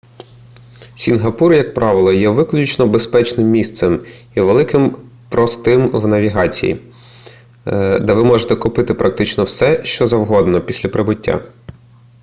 сінгапур як правило є виключно безпечним місцем і вельми простим в навігації де ви можете купити практично все що завгодно після прибуття